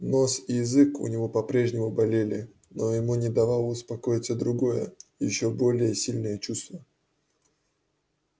нос и язык у него по прежнему болели но ему не давало успокоиться другое ещё более сильное чувство